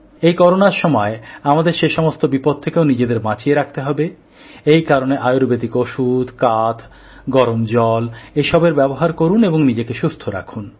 এই করোনার সময় আমাদের সে সমস্ত বিপদ থেকেও নিজেদের বাঁচিয়ে রাখতে হবে এই কারণে আয়ুর্বেদিক ওষুধ কাথ্ব গরম জল এসবের ব্যবহার করুন এবং নিজেকে সুস্থ রাখুন